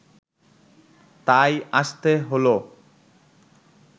তাই আসতে হলো